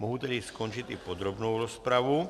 Mohu tedy ukončit i podrobnou rozpravu.